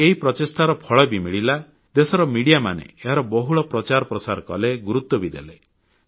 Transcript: ଆଉ ଏହି ପ୍ରଚେଷ୍ଟାର ଫଳ ବି ମିଳିଲା ଦେଶର ମିଡିଆମାନେ ଏହାର ବହୁଳ ପ୍ରଚାର ପ୍ରସାର କଲେ ଗୁରୁତ୍ୱ ବି ଦେଲେ